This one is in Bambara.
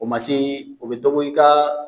O ma se u bɛ dɔ bɔ i ka